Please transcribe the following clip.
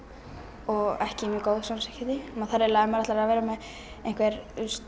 og ekki mjög góð samskipti maður þarf eiginlega ef maður ætlar að vera með einhver